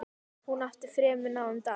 Hún átti fremur náðugan dag.